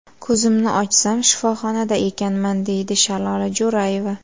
Ko‘zimni ochsam, shifoxonada ekanman”, deydi Shalola Jo‘rayeva.